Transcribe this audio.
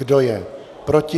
Kdo je proti?